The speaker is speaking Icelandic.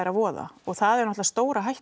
að voða og það er auðvitað stóra hættan